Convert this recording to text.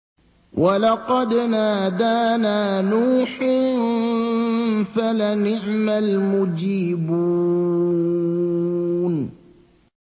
وَلَقَدْ نَادَانَا نُوحٌ فَلَنِعْمَ الْمُجِيبُونَ